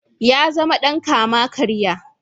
Ya zama dan kama-karya.